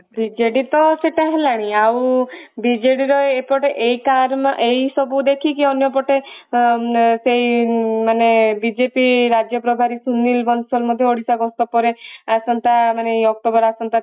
BJD ତ ସେଟା ହେଲାଣି ଆଉ ବିଜେଡିର ଏପଟେ ଏଇଟା ଏଇ ସବୁ ଦେଖିକି ଅନ୍ୟପଟେ ଉଁମ ସେଇ ମାନେ ବିଜେପି ରାଜ୍ୟ ପ୍ରବାରୀ ସୁନୀଲ ବନସଲ ମଧ୍ୟ ଓଡିଶା ଗସ୍ତ ପରେ ଆସନ୍ତା ମାନେ ଏଇ ଅକ୍ଟୋବର ଆସନ୍ତା